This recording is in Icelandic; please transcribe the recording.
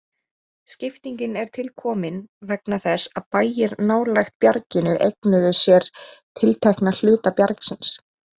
Skiptingin er tilkomin vegna þess að bæir nálægt bjarginu eignuðu sér tiltekna hluta bjargsins.